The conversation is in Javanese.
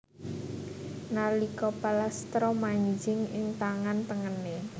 Nalika palastra manjing ing tangan tengené